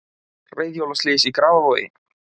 Reiðhjólaslys í Grafarvogi